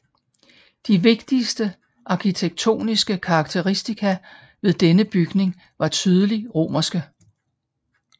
De vigtigste arkitektoniske karakteristika ved denne bygning var tydeligt romerske